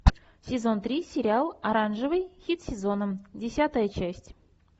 сезон три сериал оранжевый хит сезона десятая часть